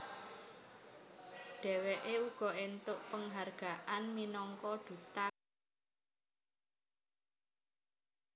Dheweke uga entuk penghargaan minangka Duta Energi Bersih